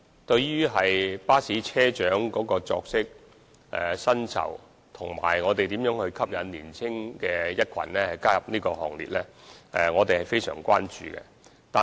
對於巴士車長的作息和薪酬，以及如何吸引年青人加入這個行列，我們是非常關注的。